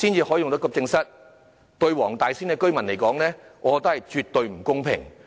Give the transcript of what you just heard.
我認為對黃大仙區居民而言，絕對不公平。